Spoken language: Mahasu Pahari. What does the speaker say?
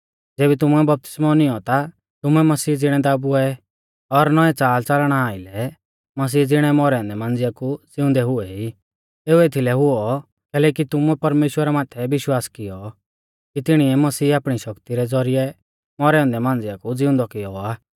ज़ेबी तुमुऐ बपतिस्मौ नियौं ता तुमै मसीह ज़िणै दाबुऐ और नौऐं च़ालच़लना आइलै मसीही ज़िणै मौरै औन्दै मांझ़िया कु ज़िउंदै हुऐ ई एऊ एथीलै हुऔ कैलैकि तुमुऐ परमेश्‍वरा माथै विश्वास कियौ कि तिणिऐ मसीह आपणी शक्ति रै ज़ौरिऐ मौरै औन्दै मांझ़िया कु ज़िउंदौ कियौ आ